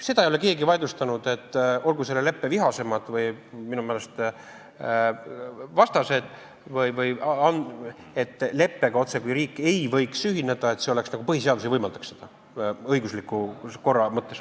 Seda ei ole keegi vaidlustanud, ka mitte selle leppe vihaseimad vastased ei ole väitnud seda, otsekui riik ei võiks leppega ühineda, et põhiseadus nagu ei võimaldaks seda õigusliku korra mõttes.